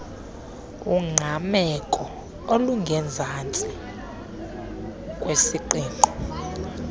ungqameko olungezantsi kwisiqingqo